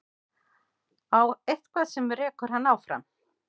Eitthvað sem rekur hann áfram.